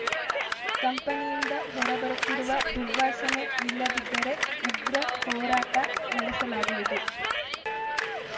ಕಂಪನಿಯಿಂದ ಹೊರಬರುತ್ತಿರುವ ದುರ್ವಾಸನೆ ನಿಲ್ಲದಿದ್ದರೆ ಉಗ್ರ ಹೋರಾಟ ನಡೆಸಲಾಗುವುದು